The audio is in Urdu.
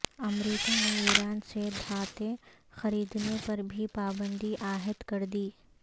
امریکہ نے ایران سے دھاتیں خریدنے پر بھی پابندی عائد کر دی